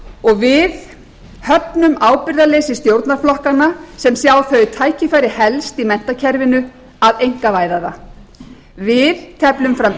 og við höfnum ábyrgðarleysi stjórnarflokkanna sem sjá þau tækifæri helst í menntakerfinu að einkavæða það við teflum fram